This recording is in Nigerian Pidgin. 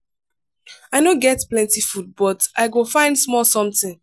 i no get plenty food but i go find small something.